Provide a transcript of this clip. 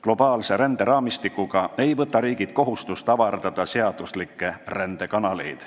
Globaalse ränderaamistikuga ei võta riigid kohustust avardada seaduslikke rändekanaleid.